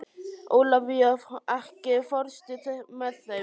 Ólafía, ekki fórstu með þeim?